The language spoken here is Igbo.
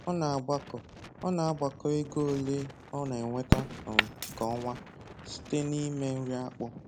Ọ na-agbakọ Ọ na-agbakọ ego ole ọ na-enweta um kwa ọnwa site na ime nri akpụ